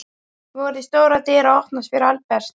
Voru stórar dyr að opnast fyrir Albert?